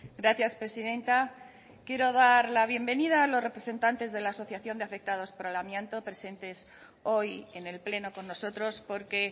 gracias presidenta quiero dar la bienvenida a los representantes de la asociación de afectados por el amianto presentes hoy en el pleno con nosotros porque